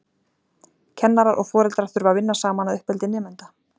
Kennarar og foreldrar þurfa að vinna saman að uppeldi nemenda.